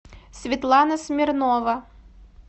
светлана смирнова